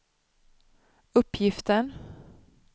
uppgiften